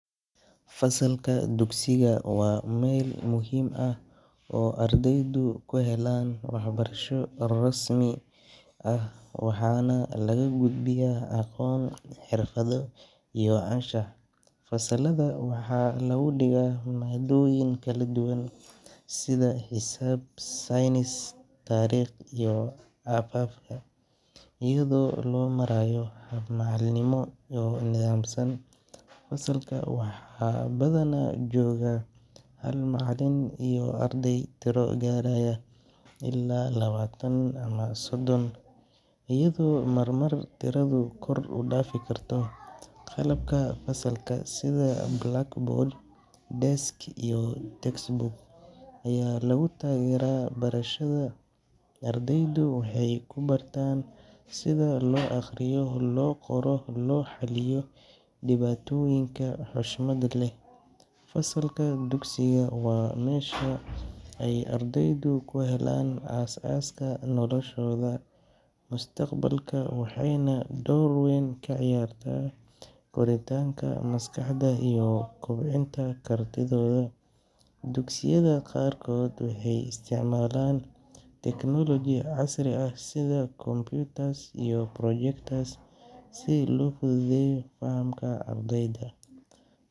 Fasalka dugsiga waa mel muhim ah oo ardeydu kuhelan waxbarasho rasmi ah, waxa nah laga gudbiyah aqon xirfadho iyo canshax fasalada waxa lagu diga madoyin kaladuban sidhaa xisab science tarig iyo ababka iyadho lomarayo macalin nimo iyoh nidamsan fasalka waxa badhana jogaa hal macalin iyoh ardey tiro garayah ila labatan amah soddon iyado marmar tirada kor udafi karto qalabka fasalka sidhaa blackboard, desk, textbook aya lagutagera barashada, ardeydu waxay kubartan sidha loo aqriyo loo qoro, loo xaliyo diwatoyinka xoshmad leh fasalka dugsiga wa mesha ardeydu aay kuhelan as aska noloshoda mustaqbalka waxay nah dorweyn kaciyarta koritanka maskaxda iyo bcinta kartidoda dugsiyada qarkod waxay istacmalan teknology cashri ah sidha computers iyo projecters si loo fududeyo fahamka ardeyda.